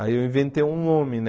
Aí eu inventei um nome, né?